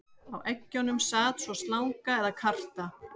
Á eggjunum sat svo slanga eða karta.